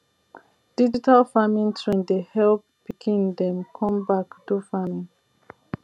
digital farming trend dey help pikin dem come back do farming